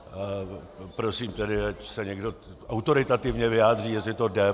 Prosím tedy, ať se někdo autoritativně vyjádří, jestli to jde.